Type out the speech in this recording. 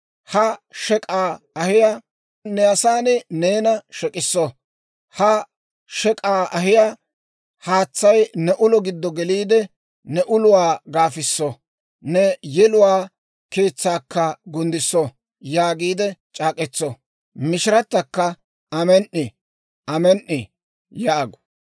Ha shek'k'aa ahiyaa haatsay ne ulo giddo geliide ne uluwaa gaafiso; ne yeluwaa keetsaakka gunddisso» yaagiide c'aak'k'etso. « ‹Mishiratakka, «Amen"i; amen"i» yaagu.